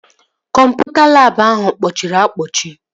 Kọmputa labụ ahụ kpọchiri akpọchi